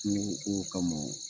Kungoko kama.